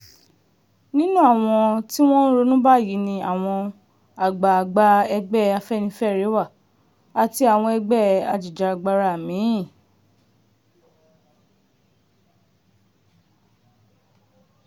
nínú àwọn tí wọ́n ń ronú báyìí ni àwọn àgbààgbà ẹgbẹ́ afẹ́nifẹ́re wà àti àwọn ẹgbẹ́ ajìjàgbara mí-ín